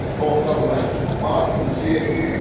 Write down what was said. тоқта былай барсын жесін